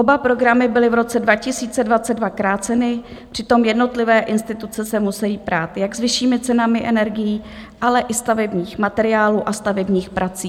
Oba programy byly v roce 2022 kráceny, přitom jednotlivé instituce se musejí prát jak s vyššími cenami energií, ale i stavebních materiálů a stavebních prací.